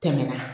Tɛmɛna